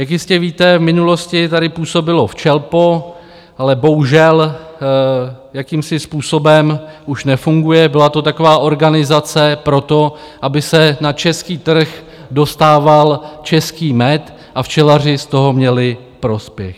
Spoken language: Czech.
Jak jistě víte, v minulosti tady působilo Včelpo, ale bohužel jakýmsi způsobem už nefunguje, byla to taková organizace pro to, aby se na český trh dostával český med a včelaři z toho měli prospěch.